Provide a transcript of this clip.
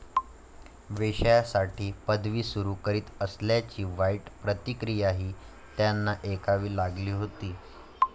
वेश्यांसाठी पदवी सुरु करीत असल्याची वाईट प्रतिक्रियाही त्यांना ऐकावी लागली होती.